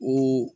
O